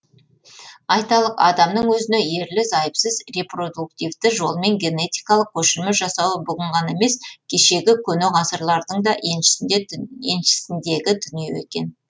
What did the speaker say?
айталық адамның өзіне ерлі зайыпсыз репродуктивті жолмен генетикалық көшірме жасауы бүгін ғана емес кешегі көне ғасырлардың да еншісіндегі дүние екен